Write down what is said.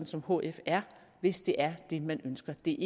som hf er hvis det er det man ønsker det